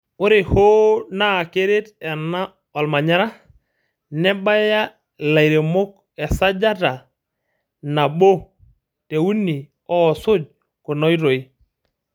Ore hoo naa keret ena olmanyara, mebaya ilairemok esajata nabo te uni oosuj kuna oitoi.